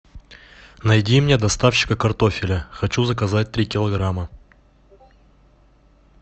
найди мне доставщика картофеля хочу заказать три килограмма